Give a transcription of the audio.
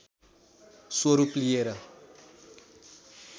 स्वरूप लिएर